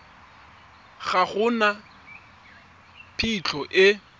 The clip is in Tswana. ga go na phitlho e